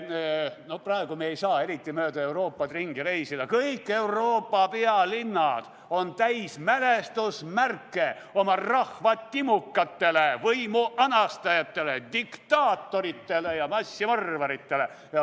No praegu ei saa me eriti mööda Euroopat ringi reisida, aga kõik Euroopa pealinnad on täis mälestusmärke oma rahva timukatele, võimu anastajatele, diktaatoritele ja massimõrvaritele.